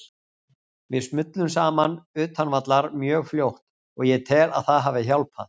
Við smullum saman utan vallar mjög fljótt og ég tel að það hafi hjálpað.